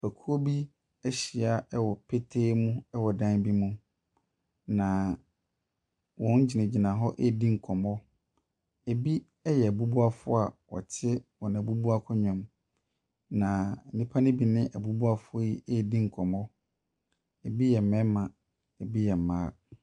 Ekuo bi ahyia wɔ petee mu wɔ dan bi mu, na wɔgyinagyina redi nkɔmmɔ. Ebi yɛ abubuafoɔ a wɔte wɔn abubua akonnwa mu, na nnipa no bi ne abubuafoɔ yi redi nkɔmmɔ. Ebi yɛ mmarima, ebi yɛ mmaa.